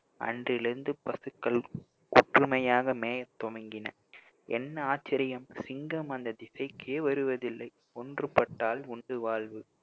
அன்றிலிருந்து பசுக்களும் ஒற்றுமையாக மேயத்துவங்கின என்ன ஆச்சரியம் சிங்கம் அந்த திசைக்கே வருவதில்லை ஒன்றுபட்டால் உண்டு வாழ்வு